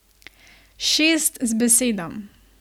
Šest z besedo.